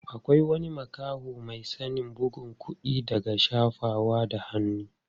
Akwai wani makaho mai sanin bugun kuɗi daga shafawa da hannu.